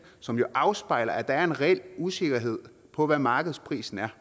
som jo afspejler at der er en reel usikkerhed om hvad markedsprisen er